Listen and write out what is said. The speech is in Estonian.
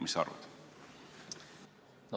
Mis sa arvad?